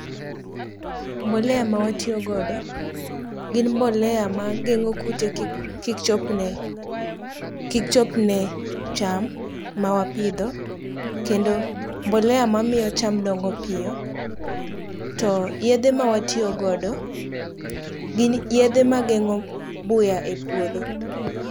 Mbolea mawatiyogodo gin mbolea mageng'o kute kik chopne cham mawapidho kendo mbolea mamiyo cham dongo piyo to yedhe mawatiyogodo gin yedhe mageng'o buya e puodho.